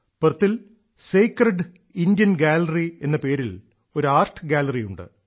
പെർത്തിൽ sacred Indian gallery എന്ന പേരിൽ ഒരു ആർട്ട് ഗാലറിയുണ്ട്